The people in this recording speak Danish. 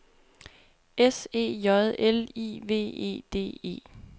S E J L I V E D E